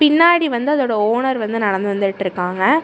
பின்னாடி வந்து அதோட ஓனர் வந்து நடந்து வந்துட்டிருக்காங்க.